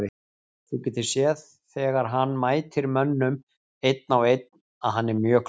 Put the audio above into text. Þú getur séð þegar hann mætir mönnum einn á einn að hann er mjög klókur.